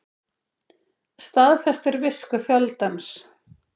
Staðfestir visku fjöldans